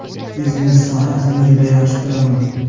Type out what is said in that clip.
Biznes sohasini juda yaxshi ko‘raman.